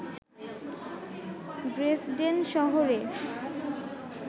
Dresden শহরে